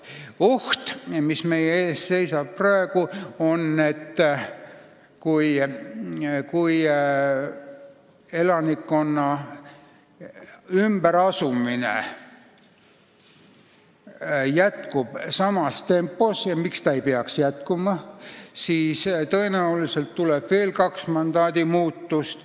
Oht, mis meie ees praegu seisab, on see, et kui elanikkonna ümberasumine jätkub samas tempos – ja miks ta ei peaks jätkuma –, siis tõenäoliselt tuleb veel kaks mandaadimuutust.